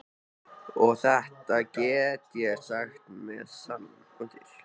Og þetta get ég sagt með sann.